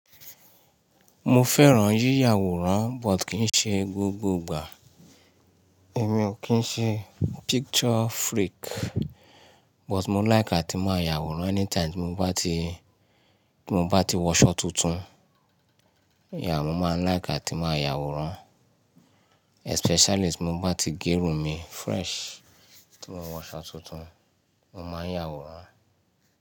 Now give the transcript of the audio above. Mo fẹ́ràn yíyàwòrán but kì í ṣe gbogbo ìgbà. Èmi o kín ń ṣe picture freak but mo like àti máa yàwòrán anytime tí mo bá ti, tí mo bá ti wọṣọ tuntun. Yeah, mo máa like àti máa yàwòrán. Especially tí mo bá ti gérun mi fresh, tí mo wọṣọ tuntun, mo máa yàwòrán.